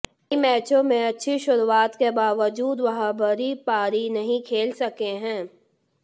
कई मैचों में अच्छी शुरूआत के बावजूद व बड़ी पारी नहीं खेल सके हैं